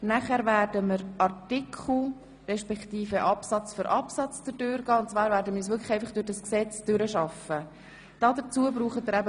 Anschliessend werden wir uns Artikel nach Artikel durch das Gesetz durcharbeiten.